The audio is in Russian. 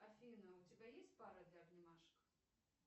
афина у тебя есть пара для обнимашек